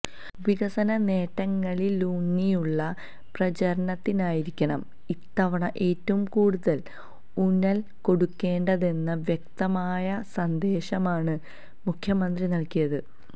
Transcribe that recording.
വികസനനേട്ടങ്ങളിലൂന്നിയുള്ള പ്രചരണത്തിനായിരിക്കണം ഇത്തവണ ഏറ്റവും കൂടുതല് ഊന്നല് കൊടുക്കേണ്ടതെന്ന വ്യക്തമായ സന്ദേശമാണ് മുഖ്യമന്ത്രി നല്കിയത്